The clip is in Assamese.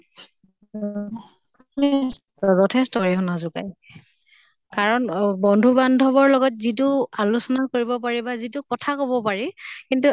উম যিথেষ্ট অৰিহনা যোগায়। কাৰন বন্ধু বান্ধৱৰ লগত যিটো আলোচনা কৰিব পাৰি বা যিটো কথা কʼব পাৰি, কিন্তু আ